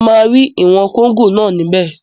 Mo máa rí ìwọ̀n kóngò náà níbẹ̀